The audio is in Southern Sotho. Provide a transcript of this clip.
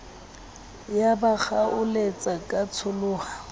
ya ba kgaoletsa ya tsholoha